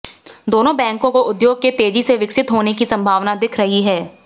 दोनों बैंकों को उद्योग के तेजी से विकसित होने की संभावना दिख रही है